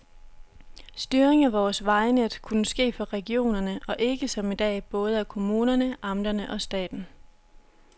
Styring af vores vejnet kunne ske fra regionerne, og ikke som i dag både af kommunerne, amterne og staten.